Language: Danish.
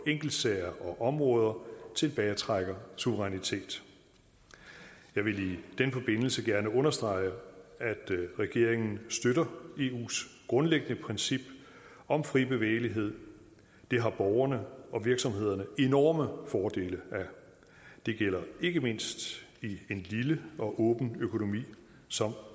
enkeltsager og områder tilbagetrækker suverænitet jeg vil i den forbindelse gerne understrege at regeringen støtter eus grundlæggende princip om fri bevægelighed det har borgerne og virksomhederne enorme fordele af det gælder ikke mindst i en lille og åben økonomi som